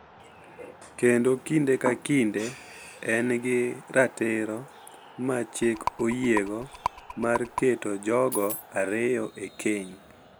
Kendo kinde ka kinde en gi ratiro ma chik oyiego mar keto jogo ariyo e keny,